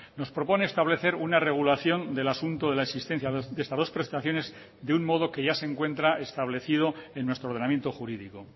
nos propone establecer una regulación del asunto de la existencia de estas dos prestaciones de un modo que ya se encuentra establecido en nuestro ordenamiento jurídico